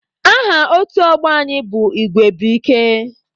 Aha otu ọgbọ anyị bụ Igwe bu ike.